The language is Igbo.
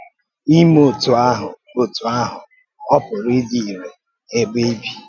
Ìmé otú ahụ otú ahụ ọ̀ pùrù ídí um irè n’èbè í bì?